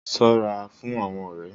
Sọ́ ra fún àwọn ọrẹ